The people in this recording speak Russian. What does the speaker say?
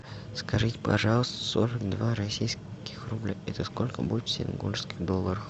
скажите пожалуйста сорок два российских рубля это сколько будет в сингапурских долларах